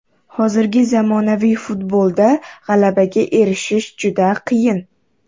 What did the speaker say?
Hozirgi zamonaviy futbolda g‘alabaga erishish juda qiyin.